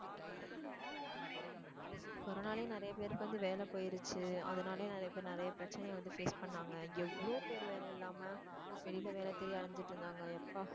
corona லையும் நிறைய பேருக்கு வந்து வேலை போயிருச்சு அதனாலேயே நிறையபேர் நிறைய பிரச்சனையை வந்து face பண்ணாங்க எவ்ளோ பேர் வேலை இல்லாம வெளியில வேலை தேடி அலைஞ்சிட்டிருந்தாங்க யப்பா